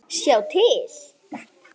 Sjá til